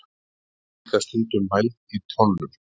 Olía er líka stundum mæld í tonnum.